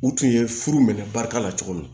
U tun ye furu minɛ barika la cogo min